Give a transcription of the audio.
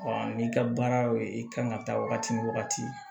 n'i ka baara y'o ye i ka kan ka taa wagati min wagati